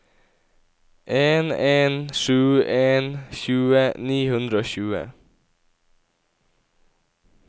en en sju en tjue ni hundre og tjue